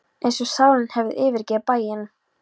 Eins og sálin hefði yfirgefið bæinn.